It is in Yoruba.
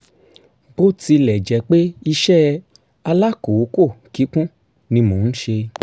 bó tilẹ̀ jẹ́ pé iṣẹ́ alákòókò kíkún ni mò ń ṣe